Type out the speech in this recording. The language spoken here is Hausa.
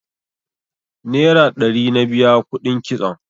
Nera ɗari na biya kuɗin kitson